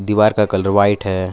दीवार का colour white है।